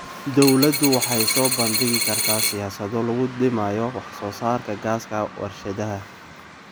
Dawladdu waxay soo bandhigi kartaa siyaasado lagu dhimayo wax soo saarka gaaska warshadaha.